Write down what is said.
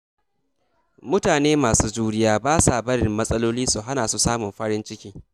Mutane masu juriya ba sa barin matsaloli su hana su samun farin ciki.